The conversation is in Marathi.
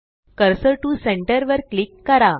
कर्सर टीओ सेंटर वर क्लिक करा